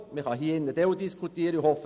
Man wird dann darüber diskutieren können.